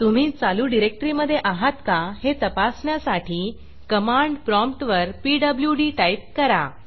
तुम्ही चालू डिरेक्टरीमधे आहात का हे तपासण्यासाठी कमांड प्रॉम्पटवर पीडब्ल्यूडी टाईप करा